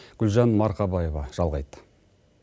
гүлжан марқабаева жалғайды